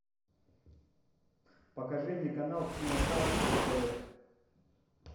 покажи мне канал киносад на тв